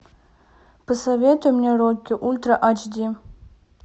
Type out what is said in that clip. посоветуй мне рокки ультра айч ди